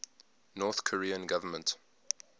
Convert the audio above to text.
north korean government